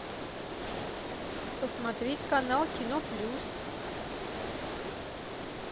посмотреть канал кино плюс